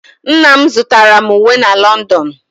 Nna m zụtara m uwe na London.